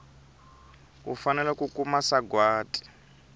u fanele ku kuma sagwati